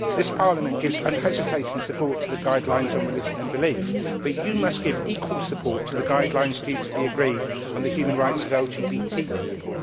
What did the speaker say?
This Parliament gives unhesitating support to the guidelines on religion and belief, but you must give equal support to the guidelines due to be agreed on the human rights of LGBT people.